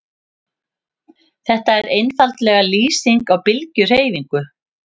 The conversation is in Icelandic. Þetta er einfaldlega lýsing á bylgjuhreyfingu.